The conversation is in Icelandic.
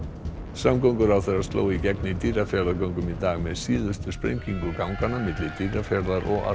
samgönguráðherra sló í gegn í Dýrafjarðargöngum í dag með síðustu sprengingu ganganna milli Dýrafjarðar og